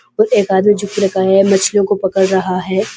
उस एक आदमी को रखा है मछलियों को पड़कर रहा है।